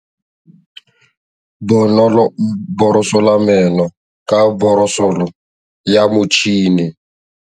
Bonolô o borosola meno ka borosolo ya motšhine.